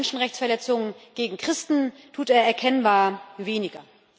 Bei Menschenrechtsverletzungen gegen Christen tut er erkennbar weniger.